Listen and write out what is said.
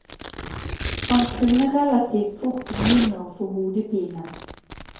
Han kunne relativt fort begynne å få hodepine.